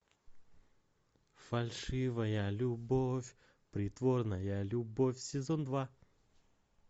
фальшивая любовь притворная любовь сезон два